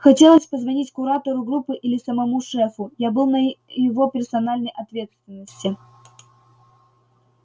хотелось позвонить куратору группы или самому шефу я был на его персональной ответственности